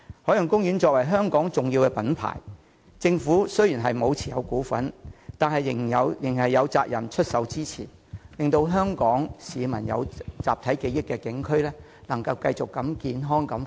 海洋公園作為香港重要的品牌，政府雖然並未持有其股份，但仍有責任給予支持，令香港市民集體記憶中的景區得以持續健康地發展。